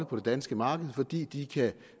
på det danske marked fordi de